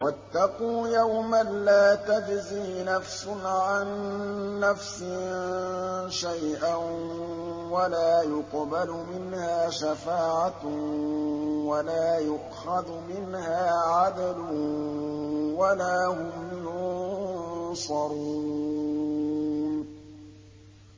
وَاتَّقُوا يَوْمًا لَّا تَجْزِي نَفْسٌ عَن نَّفْسٍ شَيْئًا وَلَا يُقْبَلُ مِنْهَا شَفَاعَةٌ وَلَا يُؤْخَذُ مِنْهَا عَدْلٌ وَلَا هُمْ يُنصَرُونَ